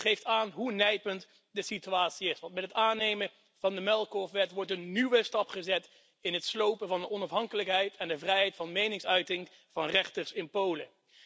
Het geeft aan hoe nijpend de situatie is, want met het aannemen van de muilkorfwet wordt een nieuwe stap gezet in het slopen van de onafhankelijkheid en de vrijheid van meningsuiting van rechters in Polen.